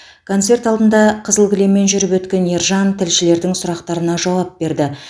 концерт алдында қызыл кілеммен жүріп өткен ержан тілшілердің сұрақтарына жауап берді